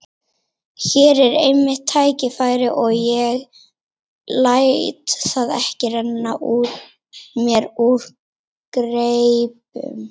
Hér er mitt tækifæri og ég læt það ekki renna mér úr greipum.